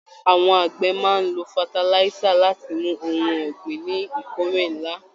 Àwọn àgbẹ̀ máa n ló fatalisa láti mú ohùn ọ̀gbìn ní ìkórè nlá.